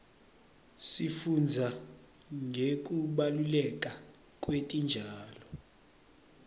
sifundza ngekubaluleka kwetitjalo